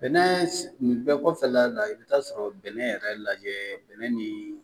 Bɛnɛ bɛ kɔfɛ la i bɛ t'a sɔrɔ bɛnɛ yɛrɛ lajɛ bɛnɛ ni